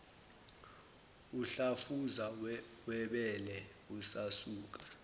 umdlavuza webele usasuka